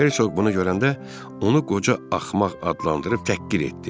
Hersoq bunu görəndə onu qoca axmaq adlandırıb təhqir etdi.